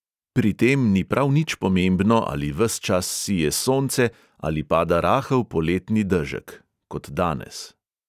Pri tem ni prav nič pomembno, ali ves čas sije sonce ali pada rahel poletni dežek (kot danes).